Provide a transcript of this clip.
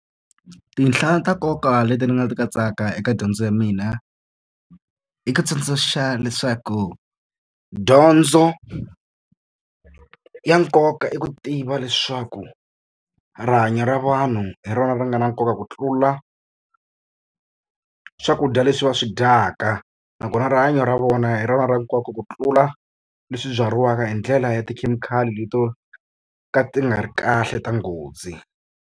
Tinhla ta nkoka leti ndzi nga swi katsaka eka dyondzo ya mina, i ku tsundzuxa leswaku dyondzo ya nkoka i ku tiva leswaku rihanyo ra vanhu hi rona ri nga na nkoka ku tlula swakudya leswi va swi dyaka. Nakona rihanyo ra vona hi rona ra nkoka ku tlula leswi byariwaka hi ndlela ya tikhemikhali leti to ka ti nga ri kahle ta nghozi.